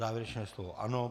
Závěrečné slovo ano.